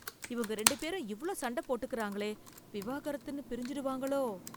இவங்க ரெண்டு பேரும் இவ்ளோ சண்டை போட்டுக்கறாங்களே... விவாகரத்துன்னு பிரிஞ்சிடுவாங்களோ..